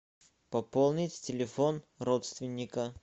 пополнить телефон родственника